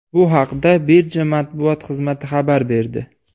Bu haqda birja matbuot xizmati xabar berdi .